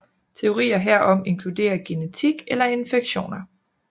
Teorier herom inkluderer genetik eller infektioner